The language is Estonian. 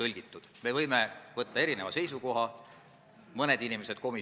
Artikli 13 lõige 2 kehtestab selle 21 000.